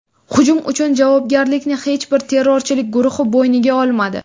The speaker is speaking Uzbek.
Hujum uchun javobgarlikni hech bir terrorchilik guruhi bo‘yniga olmadi.